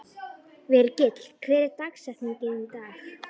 Virgill, hver er dagsetningin í dag?